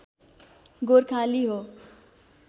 गोर्खाली हो